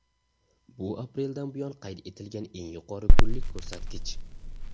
Bu apreldan buyon qayd etilgan eng yuqori kunlik ko‘rsatkich.